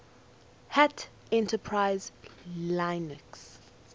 hat enterprise linux